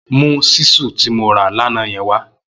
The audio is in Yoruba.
Mù ṣisú ti mó rà làná yèn wà